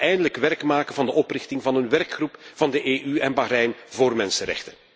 En laten we eindelijk werk maken van de oprichting van een werkgroep van de EU en Bahrein voor mensenrechten.